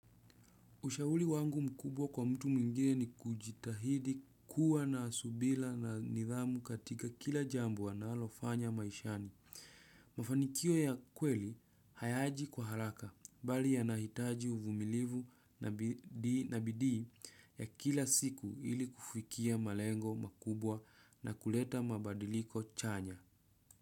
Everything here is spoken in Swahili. Ushauri wangu mkubwa kwa mtu mwingine ni kujitahidi kuwa na subira na nidhamu katika kila jambo analofanya maishani. Mafanikio ya kweli, hayaji kwa haraka, bali yana hitaji uvumilivu na bidii ya kila siku ili kufikia malengo makubwa na kuleta mabadiliko chanya.